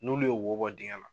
N'ulu ye wo bɔ digɛn na